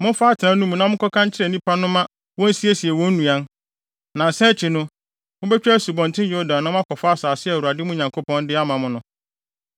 “Momfa atenae no mu na monka nkyerɛ nnipa no ma wonsiesie wɔn nnuan. Nnansa akyi no, mubetwa Asubɔnten Yordan na moakɔfa asase a Awurade, mo Nyankopɔn, de ama mo no.”